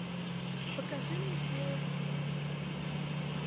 покажи мне смелость быть диким